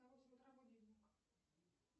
на восемь утра будильник